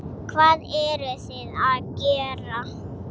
Hvað eruð þið að gera?